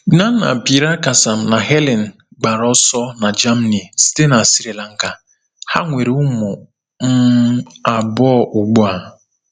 Gnanapirakasam na Helen gbara ọsọ na Germany site na Sri Lanka, ha nwere ụmụ um abụọ ugbu a.